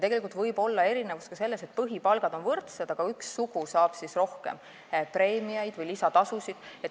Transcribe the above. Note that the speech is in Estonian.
Erinevus võib olla ka selles, et põhipalgad on võrdsed, aga üks sugu saab rohkem preemiaid või lisatasusid.